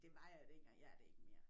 Det var jeg dengang jeg er det ikke mere